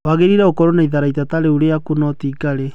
Wangĩrĩire gũkorwo na itharaita ta rũũri ruaku no ti Ngarĩ.